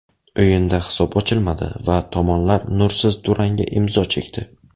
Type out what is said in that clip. O‘yinda hisob ochilmadi va tomonlar nursiz durangga imzo chekdi.